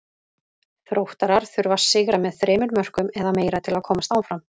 Þróttarar þurfa að sigra með þremur mörkum eða meira til að komast áfram.